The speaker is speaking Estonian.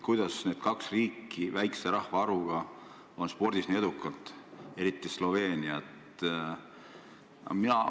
Kuidas need kaks väikese rahvaarvuga riiki on spordis nii edukad, eriti Sloveenia?